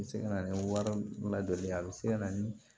A bɛ se ka na ni wari ladon a bɛ se ka na ni